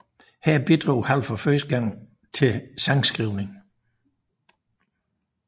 Her bidrog Hall for første gang til sangskrivningen